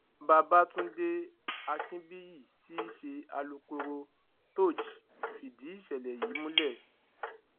babagundé akinbíyì tí í ṣe alūkkoro thoji fìdí ìṣẹlẹ yìí múlẹ